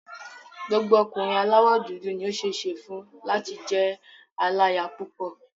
Gbogbo ọkùnrin aláwọ̀ dúdú ni ó ṣeé ṣe fún láti jẹ́ aláya púpọ̀.